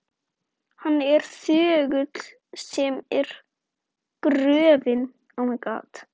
Hann er þögull sem gröfin.